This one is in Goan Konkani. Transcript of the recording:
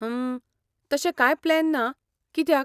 हम्म, तशे कांय प्लॅन ना , कित्याक?